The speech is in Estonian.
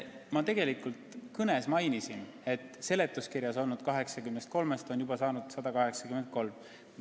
Ma mainisin juba oma kõnes, et seletuskirjas olnud 83-st on juba saanud 183.